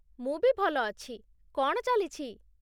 ମୁଁ ବି ଭଲ ଅଛି । କ'ଣ ଚାଲିଛି?